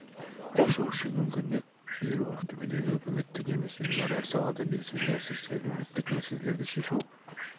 қосу үшін мүмкіндік беру ақтөбедегі үкіметтік емес ұйымдар әр салада белсенді әсіресе әлеуметтік мәселелерді шешу